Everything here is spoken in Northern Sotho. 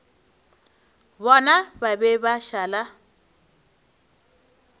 bona ba be ba šala